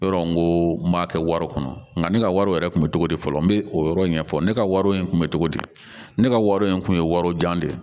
Yɔrɔ n ko n b'a kɛ wari kɔnɔ nka ne ka wari yɛrɛ kun bɛ cogo di fɔlɔ n bɛ o yɔrɔ in ɲɛfɔ ne ka wari in tun bɛ cogo di ne ka wari in tun ye wari jan de ye